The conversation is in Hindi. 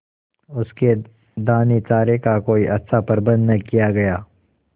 उसके दानेचारे का कोई अच्छा प्रबंध न किया गया